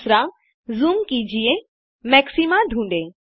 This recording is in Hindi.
दूसरा ज़ूम कीजिये और मैक्सिमा ढूंढे